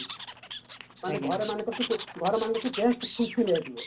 ମାନେ ଘର ଘର ମାନଙ୍କର ସବୁ guest full fill ହେଇଥିବ